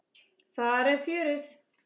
Þar er fjörið.